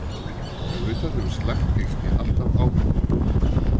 Auðvitað hefur slakt gengi alltaf áhrif á hópinn.